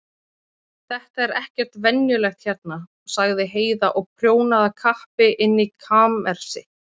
Þetta er ekkert venjulegt hérna, sagði Heiða og prjónaði af kappi inni í kamersi.